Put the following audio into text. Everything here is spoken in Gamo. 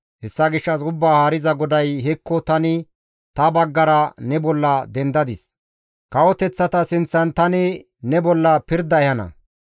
Hessa gishshas Ubbaa Haariza GODAY, «Hekko, tani ta baggara ne bolla dendadis; kawoteththata sinththan tani ne bolla pirda ehana.